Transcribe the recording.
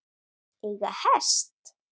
Eiga hest.